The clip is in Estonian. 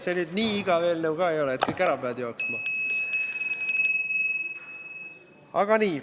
See nüüd nii igav eelnõu ka ei ole, et kõik ära peavad jooksma.